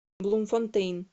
блумфонтейн